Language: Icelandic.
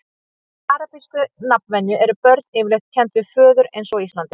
samkvæmt arabískri nafnvenju eru börn yfirleitt kennd við föður eins og á íslandi